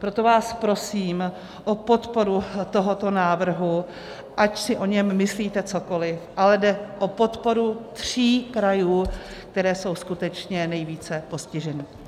Proto vás prosím o podporu tohoto návrhu, ať si o něm myslíte cokoliv, ale jde o podporu tří krajů, které jsou skutečně nejvíce postiženy.